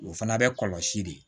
O fana bɛ kɔlɔsi de